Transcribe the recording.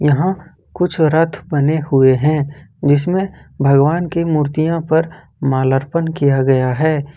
यहां कुछ रथ बने हुए हैं जिसमें भगवान की मूर्तियों पर मालार्पण किया गया है।